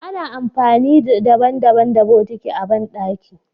Ana amfani daban- daban da botiki a bandaki.